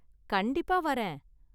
கண்டிப்பா வரேன்.